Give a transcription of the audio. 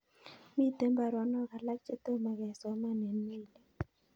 Miten baronok alak chetomo kesoman en meilit